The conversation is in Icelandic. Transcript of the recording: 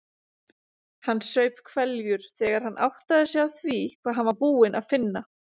Hann saup hveljur þegar hann áttaði sig á því hvað hann var búinn að finna.